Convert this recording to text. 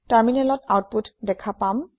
টাৰমিনেলত আওতপুত দেখা পাম